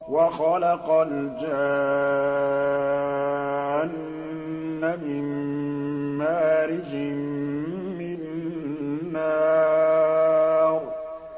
وَخَلَقَ الْجَانَّ مِن مَّارِجٍ مِّن نَّارٍ